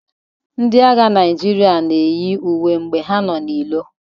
Ndị agha Naijiria na eyi uwe mgbe ha nọ na iro.